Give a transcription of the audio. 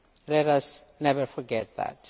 Let us never forget that.